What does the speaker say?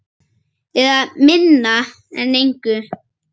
Eða minna en engu.